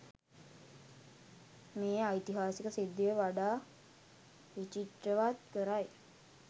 මේ ඓතිහාසික සිද්ධිය වඩා විචිත්‍රවත් කරයි.